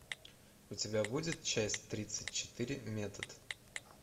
у тебя будет часть тридцать четыре метод